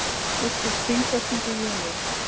Úrslit þingkosninga í júní